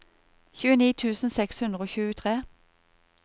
tjueni tusen seks hundre og tjuetre